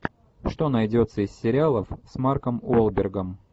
что найдется из сериалов с марком уолбергом